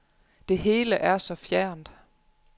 Det hele er så fjernt.